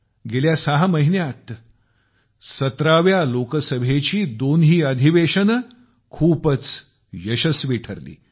गेल्या सहा महिन्यांत 17 व्या लोकसभेत दोन्ही अधिवेशने खूपच यशस्वी ठरली